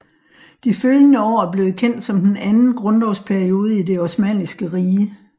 De følgende år er blevet kendt som den anden grundlovsperiode i Det osmanniske Rige